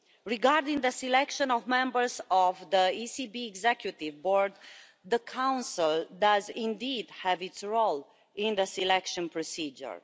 Regarding the selection of members of the ECB Executive Board, the Council does indeed have a role in the selection procedure.